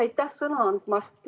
Aitäh sõna andmast!